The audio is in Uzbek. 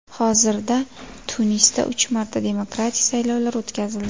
Hozirda Tunisda uch marta demokratik saylovlar o‘tkazildi.